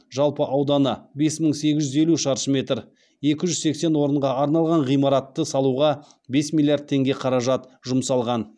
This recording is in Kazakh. жалпы ауданы бес мың сегіз жүз елу шаршы метр екі жүз сексен орынға арналған ғимаратты салуға бес миллиард теңге қаражат жұмсалған